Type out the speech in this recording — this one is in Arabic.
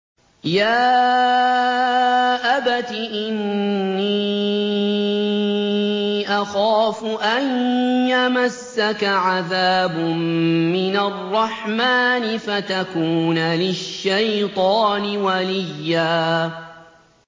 يَا أَبَتِ إِنِّي أَخَافُ أَن يَمَسَّكَ عَذَابٌ مِّنَ الرَّحْمَٰنِ فَتَكُونَ لِلشَّيْطَانِ وَلِيًّا